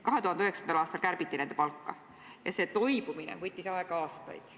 2009. aastal kärbiti nende palka ja sellest toibumine võttis aega aastaid.